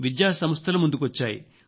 విద్యా సంస్థలు ముందుకొచ్చాయి